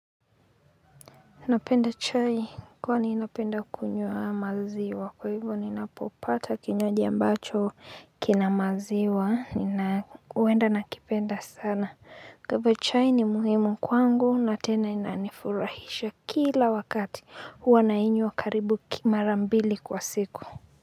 Napenda chai kwani napenda kunywa maziwa kwa hivyo ninapopata kinywaji ambacho kina maziwa nina huenda nakipenda sana. Kwa hivyo chai ni muhimu kwangu na tena inanifurahisha kila wakati huwa nainywa karibu mara mbili kwa siku.